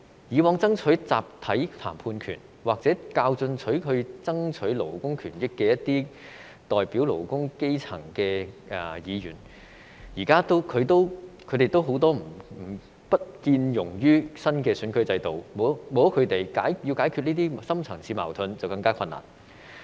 以往爭取集體談判權，或較進取地爭取勞工權益的都是一些代表勞工、基層的議員，現在他們也不見可容納於新選舉制度之下，沒有了他們，要解決這些深層次矛盾便更困難。